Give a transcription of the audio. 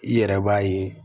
I yɛrɛ b'a ye